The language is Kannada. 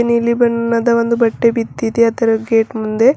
ನೀಲಿ ಬಣ್ಣದ ಒಂದು ಬಟ್ಟೆ ಬಿದ್ದಿದೆ ಅದರ ಗೇಟ್ ಮುಂದೆ--